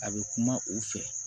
A bɛ kuma u fɛ